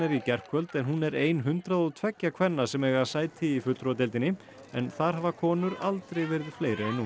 í gærkvöld en hún er ein hundrað og tveggja kvenna sem eiga sæti í fulltrúadeildinni en þar hafa konur aldrei verið fleiri en nú